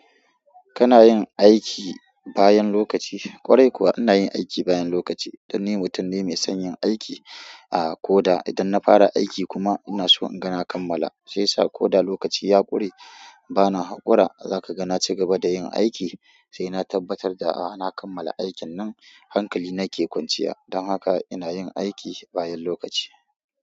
Kana yin aiki bayan lokaci? Ƙwarai kuwa ina yin aiki bayan lokaci dan ni mutum ne mai son yin aiki. A ko da idan na fara aiki kuma ina so in ga na kammala. Shiyasa ko da lokaci ya ƙure bana haƙura zaka ga na cigaba da yin aiki sai na tabbatar da a na kammala aikin nan hankali nake kwanciya. Don haka ina yin aiki bayan lokaci.